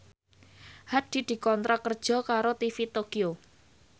Hadi dikontrak kerja karo TV Tokyo